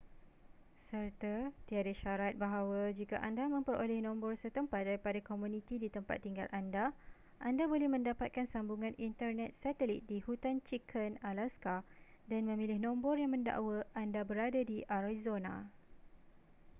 serta tiada syarat bahawa jika anda memperoleh nombor setempat daripada komuniti di tempat tinggal anda anda boleh mendapatkan sambungan internet satelit di hutan chicken alaska dan memilih nombor yang mendakwa anda berada di arizona